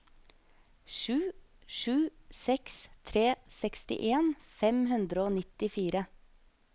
sju sju seks tre sekstien fem hundre og nittifire